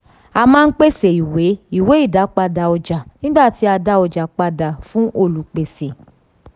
a maa pese iwe iwe idapada ọja nigba ti a da ọja pada fun olupese.